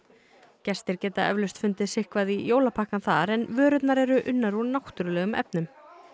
gestir geta eflaust fundið sitthvað í jólapakkana þar en vörurnar eru unnar úr náttúrulegum efnum